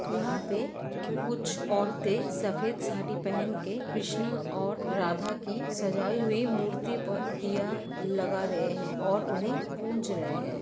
यहां पे कुछ औरतें सफेद साड़ी पहन के कृष्णा और राधा की सजाई हुई मूर्ति पर दिया लगा रहे हैं और उन्हें पूंज रहे हैं।